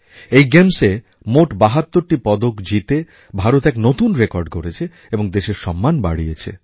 এই গেমসএ মোট ৭২টি পদক জিতে ভারত এক নূতন রেকর্ড গড়েছে এবং দেশের সম্মান বাড়িয়েছে